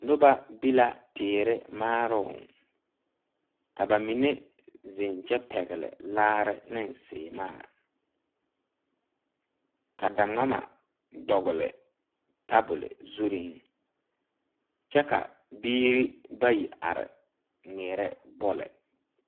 Nobɔ ve la teere maaroŋ ka ba mine zeŋ kyɛ pɛgle laare neŋ sèèmaa ka da ngmama dɔgle tabole zureŋ kyɛ ka biire ire are ngmeɛrɛ bɔle.